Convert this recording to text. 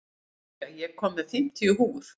Lúsía, ég kom með fimmtíu húfur!